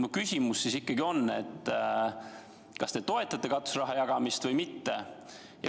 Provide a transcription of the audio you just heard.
Mu küsimus on, kas te toetate katuseraha jagamist või mitte.